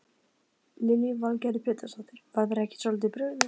Lillý Valgerður Pétursdóttir: Var þér ekki svolítið brugðið?